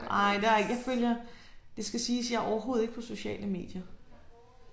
Nej der er ikke jeg følger det skal siges jeg er overhovedet ikke på sociale medier